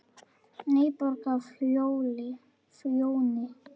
NÝBORG Á FJÓNI,